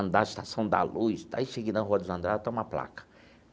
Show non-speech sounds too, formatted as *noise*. andar na Estação da Luz, daí cheguei na Rua dos, *unintelligible* lá está uma placa.